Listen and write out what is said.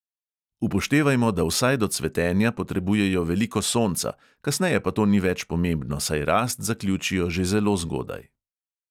Upoštevajmo, da vsaj do cvetenja potrebujejo veliko sonca, kasneje pa to ni več pomembno, saj rast zaključijo že zelo zgodaj.